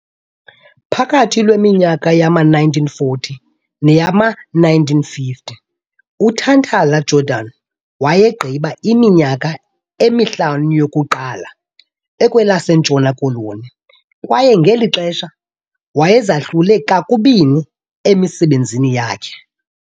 Phakathi lweminyaka yama-1940 neyama-1950 uNtantala-Jordan wayegqiba iminyaka emihlanu yokuqala ekwelaseNtshona Koloni kwaye ngeli xesha wayezahlule kubini emisebenzini yakhe.